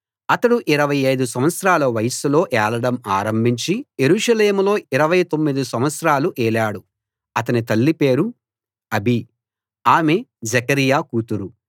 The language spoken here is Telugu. అతడు 25 సంవత్సరాల వయస్సులో ఏలడం ఆరంభించి యెరూషలేములో 29 సంవత్సరాలు ఏలాడు అతని తల్లి పేరు అబీ ఆమె జెకర్యా కూతురు